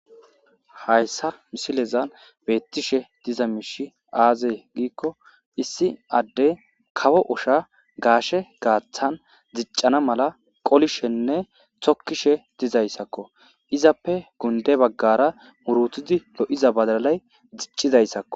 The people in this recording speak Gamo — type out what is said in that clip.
hayssa misilezan beettishe diza miishi aazey giikko issi adde kawo usha gaashe gaaththan ziccana mala qolishenne tokkishe dizayssakko izappe gunde baggara murutidi lo7iza badalay ziccizayssakko